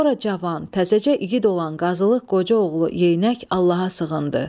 Sonra cavan, təzəcə igid olan Qazılıq Qoca oğlu Yeyinək Allaha sığındı.